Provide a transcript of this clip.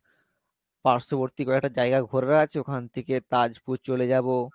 পার্শ্ববর্তী কয়েকটা জায়গা ঘোরার আছে ওখান থেকে তাজপুর চলে যাবো